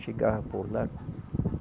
Chegava por lá.